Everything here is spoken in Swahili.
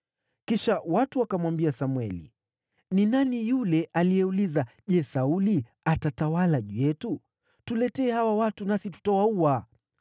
Kisha watu wakamwambia Samweli, “Ni nani yule aliyeuliza, ‘Je, Sauli atatawala juu yetu?’ Tuletee hawa watu, nasi tutawaua.”